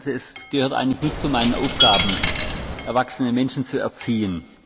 Es gehört eigentlich nicht zu meinen Aufgaben, erwachsene Menschen zu erziehen.